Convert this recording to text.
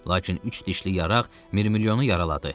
Lakin üç dişli yaraq mirmilyonu yaraladı.